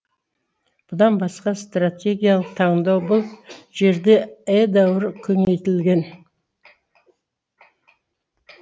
бұдан басқа стратегиялық таңдау бұл жерде едәуір кеңейтілген